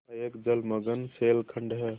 यहाँ एक जलमग्न शैलखंड है